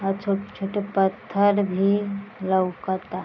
अ छोटे-छोटे पत्थर भी लउकता।